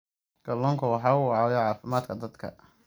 Kalluunku waxa uu caawiyaa caafimaadka dadka